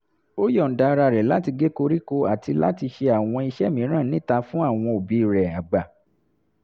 ó yọ̀ǹda ara rẹ̀ láti gé koríko àti láti ṣe àwọn iṣẹ́ mìíràn níta fún àwọn òbí rẹ̀ àgbà